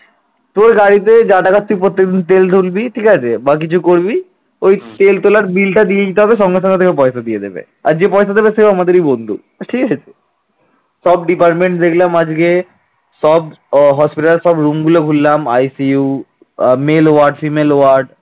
সব department দেখলাম আজকে সব hospital র সব room গুলো ঘুরলাম ICU male word female word